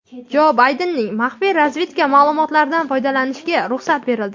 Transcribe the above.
Jo Baydenning maxfiy razvedka ma’lumotlaridan foydalanishiga ruxsat berildi.